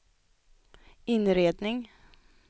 inredning